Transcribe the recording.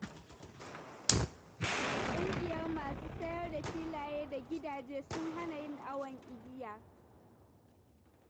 Ƙungiyar masu sayar da filaye da gidaje sun hana yin awon igiya.